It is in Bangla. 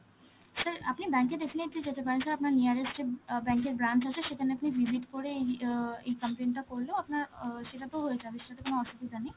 sir আপনি bank এ definitely যেতে পারেন, sir আপনার nearest এ অ্যাঁ bank এর branch আছে, সেখানে আপনি visit করে এই~ অ এই complain টা করলেও আপনার আ সেটাতেও হয়ে যাবে, সেটাতে কোন অসুবিধা নেই.